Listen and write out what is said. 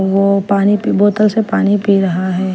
वो पानी पी बोतल से पानी पी रहा है।